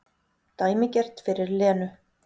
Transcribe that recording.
Dæmigert fyrir Lenu.